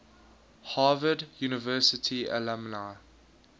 harvard university alumni